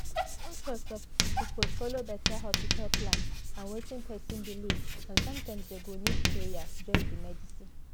doctor suppose follow better hospital plan and wetin person believe and sometimes dem go need prayer join the medicine